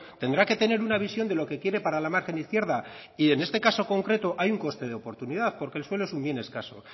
tendrá que tener una visión de lo que quiere para la margen izquierda y en este caso concreto hay un coste de oportunidad porque el suelo es un bien escaso